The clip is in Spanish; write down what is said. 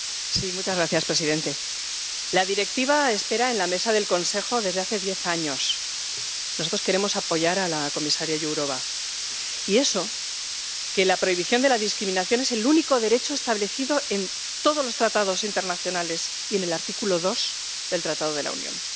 Señor presidente, la Directiva espera en la mesa del Consejo desde hace diez años —nosotros queremos apoyar a la comisaria Jourová—, y eso que la prohibición de la discriminación es el único derecho establecido en todos los tratados internacionales y en el artículo 2 del Tratado de la Unión.